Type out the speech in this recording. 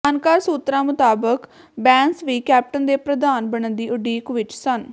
ਜਾਣਕਾਰ ਸੂਤਰਾਂ ਮੁਤਾਬਕ ਬੈਂਸ ਵੀ ਕੈਪਟਨ ਦੇ ਪ੍ਰਧਾਨ ਬਣਨ ਦੀ ਉਡੀਕ ਵਿੱਚ ਸਨ